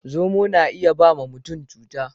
Zomo na iya ba ma mutum cuta.